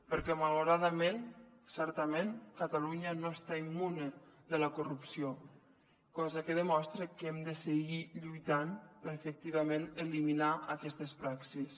perquè malauradament certament catalunya no està immune de la corrupció cosa que demostra que hem de seguir lluitant per efectivament eliminar aquestes praxis